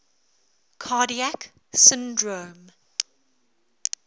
cardiac syndrome